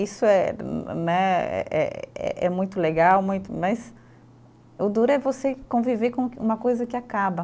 Isso é né, eh é muito legal, muito, mas o duro é você conviver com que, uma coisa que acaba.